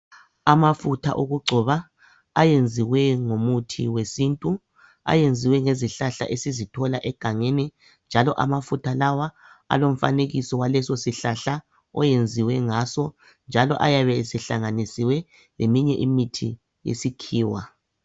Amafutha okugcoba ayenziwe ngomuthi wesintu ayenziwe ngezihlahla esizithola egangeni njalo amafutha lawa alomfanekiso walesosihlahla oyenziwe ngaso njalo ayabe esehlanganisiwe leminye imithi yesikhiwa